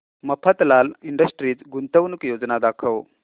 Mafatlal industries गुंतवणूक योजना दाखव